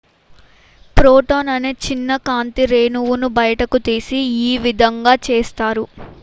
"""""""Photon""" అనే చిన్న కాంతి రేణువును బయటకు తీసి ఈ విధంగా చేస్తారు.""